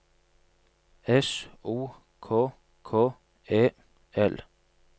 S O K K E L